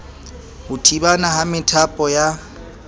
ho thibana ha methapo ya